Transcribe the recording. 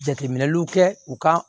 Jateminɛliw kɛ u ka